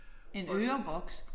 En øreboks?